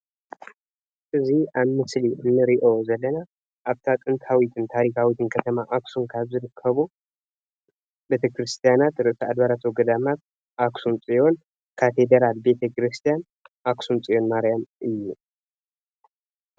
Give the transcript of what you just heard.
እዚ ኣብ ምስሊ እንሪኦ ዘለና ኣብታ ጥንታዊትን ታሪካዊትን ከተማ ኣክሱም ካብ ዝርከቡ ቤተ ክርስትያናት ርእሰ ኣድባራት ወገዳማት ኣክሱም ፅዮን ካቴደራል ቤተ ክርስትያን ኣክሱም ፅዮን ማርያም እዩ፡፡